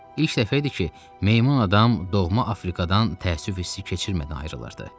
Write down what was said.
İlk dəfə idi ki, meymun adam doğma Afrikadan təəssüf hissi keçirmədən ayrılırdı.